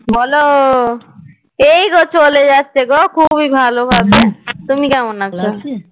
বলো, এইগো চলে যাচ্ছে গো খুবই ভালো ভাবে, তুমি কেমন আছো?